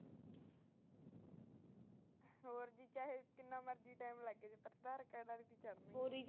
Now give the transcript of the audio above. ਹੋਰ ਜੀ ਚਾਹੇ ਜਿਨਾ ਮਰਜੀ ਟਾਈਮ ਲਗ ਆਧਾਰ ਕਾਰਡ ਚ ਹੀ ਚੜਦੀਆਂ